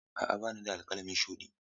A'a ba ni da alƙalami shuɗi.